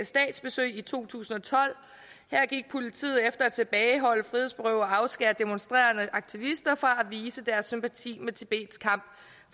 statsbesøg i to tusind og tolv her gik politiet efter at tilbageholde frihedsberøve og afskære demonstrerende aktivister fra at vise deres sympati med tibets kamp